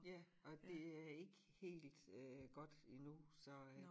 Ja og det er ikke helt øh godt endnu så øh